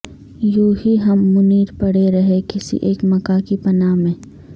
یونہی ہم منیر پڑے رہے کسی اک مکاں کی پناہ میں